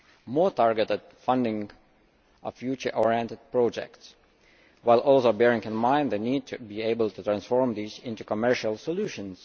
more targeted funding of future oriented projects while also bearing in mind the need to be able to transform these into commercial solutions